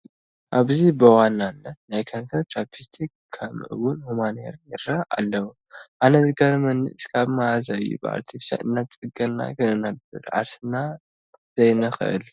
ኣብዚ ብዋናነት ናይ ከንፈር ቻፕስቲክ ከምኡውን ሁማን ሄይር ይርአዩ ኣለዉ፡፡ ኣነ ዝገርመኒ እስካብ መዓዝ እዩ ብኣርተፊሻል እንዳተፀገንና ክንነብር ዓርስና ዘይንኽእል፡፡